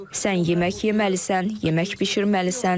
Sən yemək yeməlisən, yemək bişirməlisən.